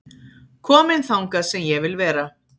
Kominn þangað sem ég vil vera